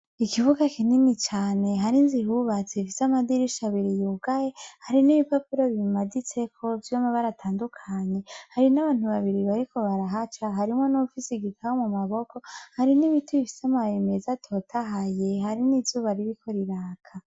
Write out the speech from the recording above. Ikibuga kinini cane har'izu ihubatse, ifise amadirisha abiri yugaye. Hari n'ibipapuro bimaditseko vy'amabara atandukanye. Hari n'abantu babiri bariko barahaca, harimo n'uwufisi igitabo mu maboko. Hari n'ibiti bifise amababi meza atotahayeH hari n'izuba ririko riraka.